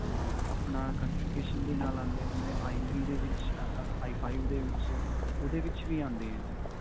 ਆਪਣਾ configuration ਦੇ ਨਾਲ ਆਉਂਦੇ ਹੈ ਜਿਵੇਂ ਆਈ ਥ੍ਰੀ ਦੇ ਵਿੱਚ ਅਅ ਆਈ ਫੋਰ ਦੇ ਵਿੱਚ, ਓਹਦੇ ਵਿੱਚ ਵੀ ਆਉਂਦੇ ਹੈ ਜੀ.